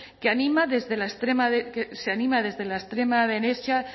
que se anima desde la extrema derecha